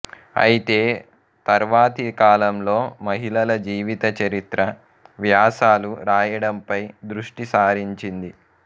ఐతే తర్వాతికాలంలో మహిళల జీవిత చరిత్ర వ్యాసాలు రాయడంపై దృష్టిసారించింది